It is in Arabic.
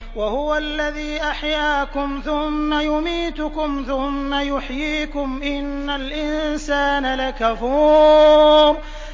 وَهُوَ الَّذِي أَحْيَاكُمْ ثُمَّ يُمِيتُكُمْ ثُمَّ يُحْيِيكُمْ ۗ إِنَّ الْإِنسَانَ لَكَفُورٌ